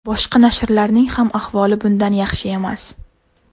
Boshqa nashrlarning ham ahvoli bundan yaxshi emas.